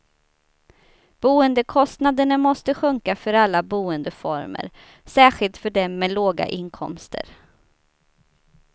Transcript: Boendekostnaderna måste sjunka för alla boendeformer, särskilt för dem med låga inkomster.